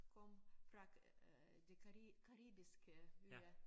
Kom fra øh de caribiske øer